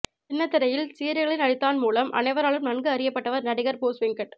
சின்னத்திரையில் சீரியல்களில் நடித்தான் மூலம் அனைவராலும் நன்கு அறியப்பட்டவர் நடிகர் போஸ்வெங்கட்